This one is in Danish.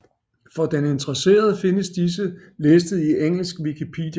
For den interesserede findes disse listet i engelsk Wikipedia